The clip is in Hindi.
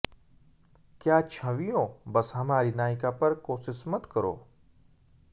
क्या छवियों बस हमारी नायिका पर कोशिश मत करो